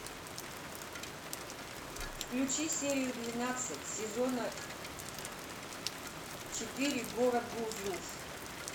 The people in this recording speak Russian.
включи серию двенадцать сезона четыре город гурзуф